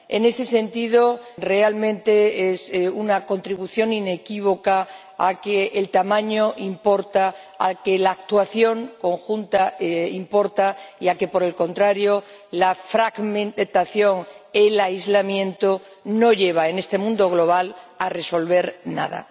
En ese sentido, realmente, es una contribución inequívoca a que el tamaño importa, a que la actuación conjunta importa y a que, por el contrario, la fragmentación, el aislamiento, no llevan en este mundo global a resolver nada.